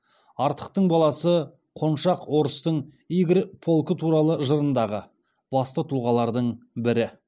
артықтың баласы қоншақ орыстың игорь полкы туралы жырындағы басты тұлғалардың бірі